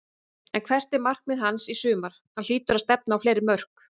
En hvert er markmið hans í sumar, hann hlýtur að stefna á fleiri mörk?